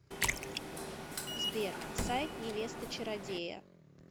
сбер сайт невеста чародея